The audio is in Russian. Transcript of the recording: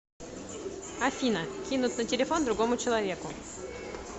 афина кинуть на телефон другому человеку